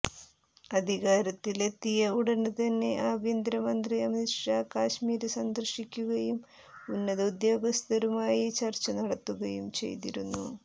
അധികാരത്തിലെത്തിയ ഉടന് തന്നെ ആഭ്യന്തര മന്ത്രി അമിത് ഷാ കശ്മീര് സന്ദര്ശിക്കുകയും ഉന്നത ഉദ്യോഗസ്ഥരുമായി ചര്ച്ച നടത്തുകയും ചെയ്തിരുന്നു